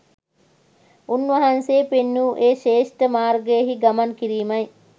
උන්වහන්සේ පෙන්වූ ඒ ශ්‍රේෂ්ඨ මාර්ගයෙහි ගමන් කිරීමයි